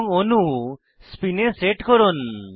এবং অণু স্পিন এ সেট করুন